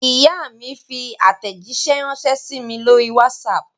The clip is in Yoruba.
Ìyá mi fi àtẹ̀jíṣẹ́ ránṣẹ́ sí mi lórí WhatsApp.